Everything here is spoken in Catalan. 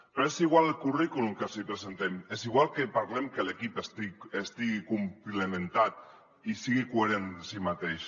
però és igual el currículum que els hi presentem és igual que parlem que l’equip estigui complementat i sigui coherent en si mateix